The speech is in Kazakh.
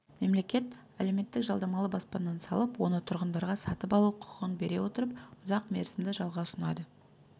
мемлекет әлеуметтік жалдамалы баспананы салып оны тұрғындарға сатып алу құқығын бере отырып ұзақ мерзімді жалға ұсынады